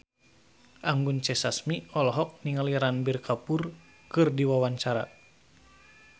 Anggun C. Sasmi olohok ningali Ranbir Kapoor keur diwawancara